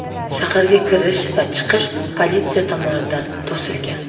Shaharga kirish va chiqish politsiya tomonidan to‘silgan.